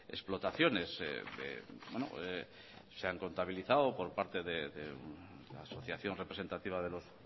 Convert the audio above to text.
explotaciones se han contabilizado por parte de la asociación representativa de los